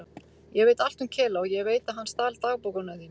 Ég veit allt um Kela og ég veit að hann stal dagbókunum þínum.